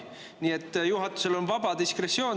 Nii et juhatusel on vaba diskretsioon.